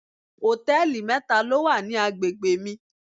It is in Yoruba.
Hòtẹ́lìì mẹ́ta ló wà ní agbègbè mi.